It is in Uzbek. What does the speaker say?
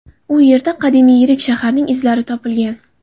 U yerda qadimiy yirik shaharning izlari topilgan.